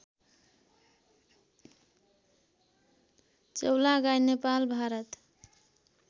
Chaulagain Nepal Bharat